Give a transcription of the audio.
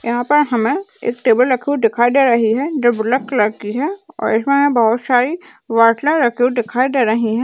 यहाँ पर हमे एक टेबल रखी हुई दिखाई दे रही है जो ब्लैक कलर की है और इसमें बहौत सारी बोटले रखी हुई दिखाई दे रही हैं।